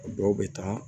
O dɔw bɛ taa